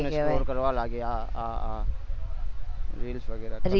લાગે આ આ reels વગેરા